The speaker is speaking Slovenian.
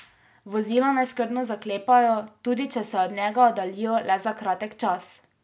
Vozila naj skrbno zaklepajo, tudi če se od njega oddaljijo le za kratek čas.